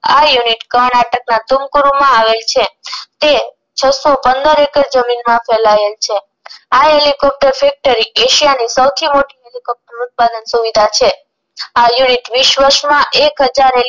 આ unit કર્ણાટક ના ટૂંકહુરૂમાં આવેલ છે તે છસો પંદર એકડ જમીનમાં ફેલાયેલ છે આ હેલીકોપ્ટર ફેક્ટરિ એશિયાની સૌથી મોટી હેલીકોપ્ટર ઉત્પાદક સુવિધા છે આ unit વીસ વર્ષ માં એક હજાર